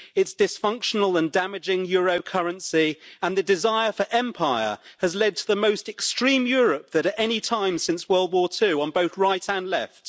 Its dysfunctional and damaging euro currency and the desire for empire has led to the most extreme Europe of any time since World War II, on both right and left.